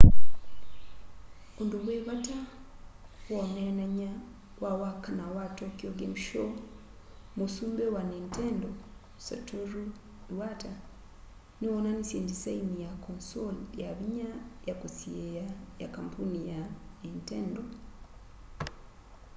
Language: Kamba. undu wi vata woneenany'a wa wakana wa tokyo game show muusumbi wa nintendo satoru iwata niwoonanisye ndisaini ya console yavinya ya kusyiia ya kambuni ya nintendo